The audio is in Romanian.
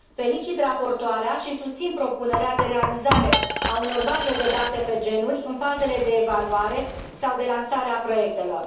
Felicit raportoarea și susțin propunerea de realizare a unor baze de date pe genuri în fazele de evaluare sau de lansare a proiectelor.